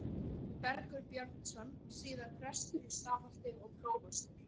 Bergur Björnsson, síðar prestur í Stafholti og prófastur.